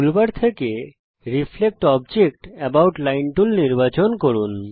toolbar থেকে reflect object about line tool নির্বাচন করুন